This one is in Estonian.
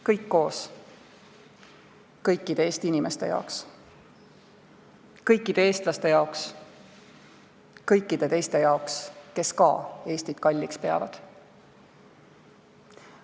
Kõik koos, kõikide Eesti inimeste jaoks, kõikide eestlaste jaoks, kõikide teiste jaoks, kes ka Eestit kalliks peavad.